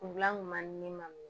Kungilan kun ma di ne ma